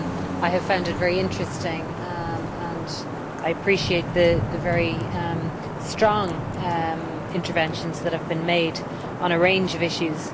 I have found it very interesting and I appreciate the very strong interventions that have been made on a range of issues.